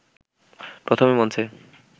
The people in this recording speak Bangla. প্রথমে মঞ্চে